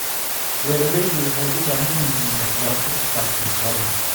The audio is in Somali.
Beeralaydu waxay u baahan yihiin waxbarasho ku saabsan xoolaha.